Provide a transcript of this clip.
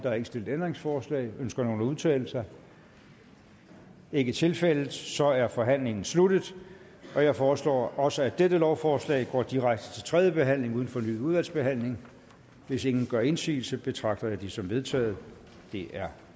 er ikke stillet ændringsforslag ønsker nogen at udtale sig det er ikke tilfældet så er forhandlingen sluttet jeg foreslår også at dette lovforslag går direkte til tredje behandling uden fornyet udvalgsbehandling hvis ingen gør indsigelse betragter jeg det som vedtaget det er